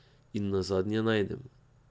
In nazadnje najdem.